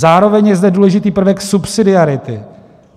Zároveň je zde důležitý prvek subsidiarity.